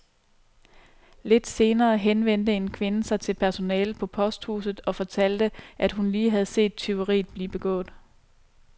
Lidt senere henvendte en kvinde sig til personalet på posthuset og fortalte, at hun lige havde set tyveriet blive begået.